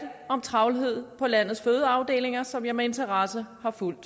om travlhed på landets fødeafdelinger som jeg med interesse